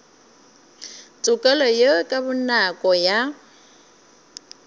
tokelo ye ka bonako ya